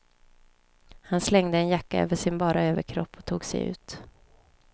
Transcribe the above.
Han slängde en jacka över sin bara överkropp och tog sig ut.